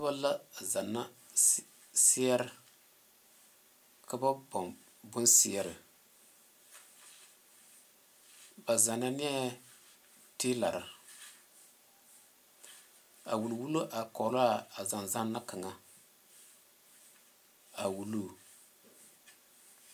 Noba la a zanna seɛrɛ ka ba boŋ bonseɛrɛ ba zanna nɛɛ tiilara a wulwulo are koge la a zane zanna kaŋa a wuluu